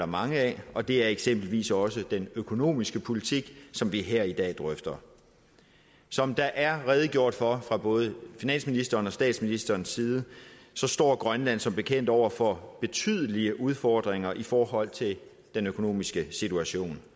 mange af og det er eksempelvis også den økonomiske politik som vi her i dag drøfter som der er redegjort for fra både finansministerens og statsministerens side står grønland som bekendt over for betydelige udfordringer i forhold til den økonomiske situation